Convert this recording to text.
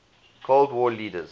cold war leaders